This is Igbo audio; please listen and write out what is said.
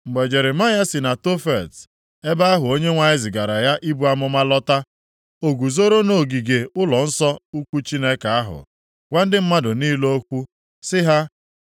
Mgbe Jeremaya si na Tofet, ebe ahụ Onyenwe anyị zigara ya ibu amụma lọta, o guzoro nʼogige ụlọnsọ ukwu Chineke ahụ, gwa ndị mmadụ niile okwu sị ha,